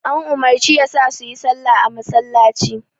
An umarci yasa suyi salla a masallaci.